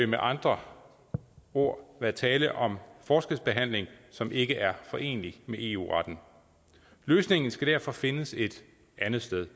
med andre ord være tale om forskelsbehandling som ikke er forenelig med eu retten løsningen skal derfor findes et andet sted